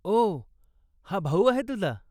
ओ, हा भाऊ आहे तुझा?